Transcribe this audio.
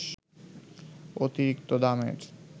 অতিরিক্ত দামের